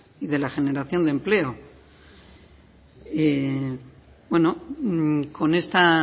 y de la generación de empleo bueno con esta